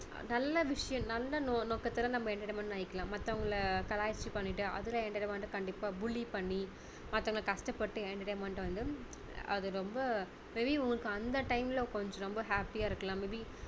நல்ல விஷயம் நல்ல நோ~நோகத்துல நம்ம entertainment பண்ணிக்கலாம் மத்தவங்களை கலாய்ச்சு பண்ணிட்டு அதுல entertainment கண்டிப்பா bully பண்ணி மத்தவங்க கஷ்டப்பட்டு entertainment வந்து அது ரொம்ப may be உங்களுக்கு அந்த time ல கொஞ்சம் ரொம்ப happy யா இருக்கலாம் may be